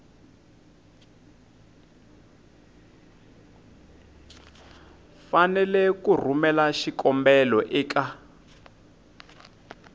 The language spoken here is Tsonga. fanele ku rhumela xikombelo eka